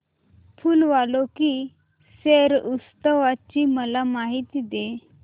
फूल वालों की सैर उत्सवाची मला माहिती दे